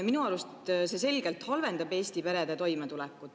Minu arust see selgelt halvendab Eesti perede toimetulekut.